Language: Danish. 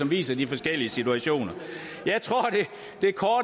viser de forskellige situationer jeg tror